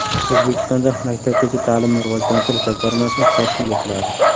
O‘zbekistonda Maktabgacha ta’limni rivojlantirish jamg‘armasi tashkil etiladi.